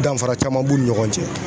Danfara caman b'u ni ɲɔgɔn cɛ